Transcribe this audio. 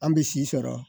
An bɛ si sɔrɔ